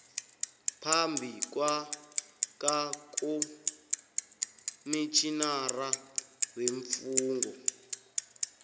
phambi kwakakomitjhinara weemfungo